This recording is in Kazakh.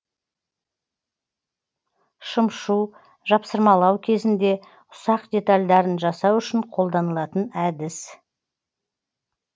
шымшу жапсырмалау кезінде ұсақ детальдарын жасау үшін қолданылатын әдіс